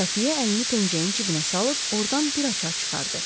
Xəfiyyə əlini pencəyin cibinə salıb, ordan bir açar çıxardı.